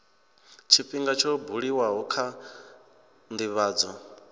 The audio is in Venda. tshifhinga tsho buliwaho kha ndivhadzo